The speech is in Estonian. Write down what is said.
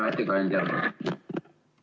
Hea ettekandja!